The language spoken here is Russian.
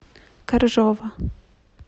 коржова